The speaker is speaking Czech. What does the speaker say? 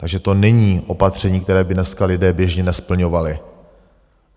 Takže to není opatření, které by dneska lidé běžně nesplňovali.